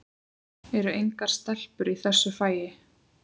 Eru engar stelpur í þessu fagi?